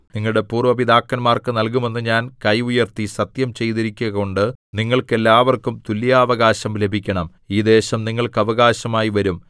നിങ്ങളുടെ പൂര്‍വ്വ പിതാക്കന്മാർക്കു നല്കുമെന്ന് ഞാൻ കൈ ഉയർത്തി സത്യം ചെയ്തിരിക്കുകകൊണ്ട് നിങ്ങൾക്ക് എല്ലാവർക്കും തുല്യാവകാശം ലഭിക്കണം ഈ ദേശം നിങ്ങൾക്ക് അവകാശമായി വരും